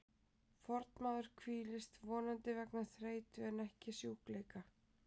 Fornmaður hvílist, vonandi vegna þreytu en ekki sjúkleika.